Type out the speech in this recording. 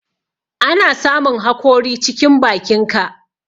Ana samun hakori cikin bakinka.